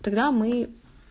тогда мы